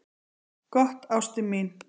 """Gott, ástin mín."""